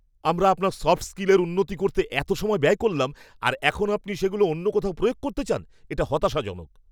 আমরা আপনার সফট স্কিলের উন্নতি করতে এত সময় ব্যয় করলাম, আর এখন আপনি সেগুলো অন্য কোথাও প্রয়োগ করতে চান? এটা হতাশাজনক।